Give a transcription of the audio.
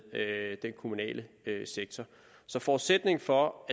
med den kommunale sektor så forudsætningen for